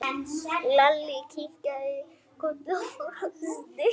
Þessi fína skyrta!